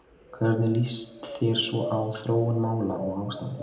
Hvernig líst þér svo á þróun mála og ástandið?